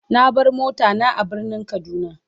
Na bar mota na a birnin kaduna.